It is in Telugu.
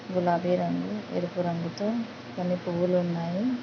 గులాబీ రంగు ఎరుపు రంగుతో కొన్ని పూవ్వులున్నాయి.